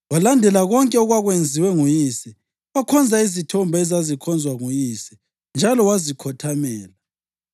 Walandela konke okwakwenziwe nguyise, wakhonza izithombe ezazikhonzwa nguyise, njalo wazikhothamela.